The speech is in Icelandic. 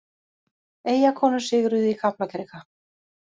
Eyjakonur sigruðu í Kaplakrika